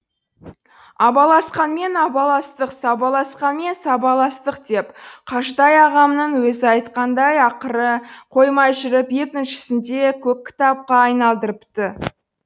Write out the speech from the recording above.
абаласқанмен абаластық сабаласқанмен сабаластық деп қажытай ағамның өзі айтқандай ақыры қоймай жүріп екіншісін де көк кітапқа айналдырыпты